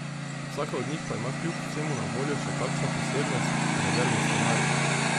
Vsaka od njih pa ima kljub vsemu na voljo še kakšno posebnost, rezervni scenarij.